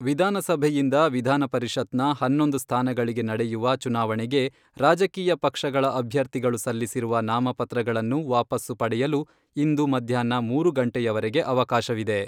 ವಿಧಾನಸಭೆಯಿಂದ ವಿಧಾನಪರಿಷತ್ನ ಹನ್ನೊಂದು ಸ್ಥಾನಗಳಿಗೆ ನಡೆಯುವ ಚುನಾವಣೆಗೆ ರಾಜಕೀಯ ಪಕ್ಷಗಳ ಅಭ್ಯರ್ಥಿಗಳು ಸಲ್ಲಿಸಿರುವ ನಾಮಪತ್ರಗಳನ್ನು ವಾಪಸ್ಸು ಪಡೆಯಲು ಇಂದು ಮಧ್ಯಾಹ್ನ ಮೂರು ಗಂಟೆಯವರೆಗೆ ಅವಕಾಶವಿದೆ.